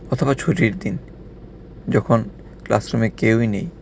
প্রথমে ছুটির দিন যখন ক্লাসরুমে কেউই নেই.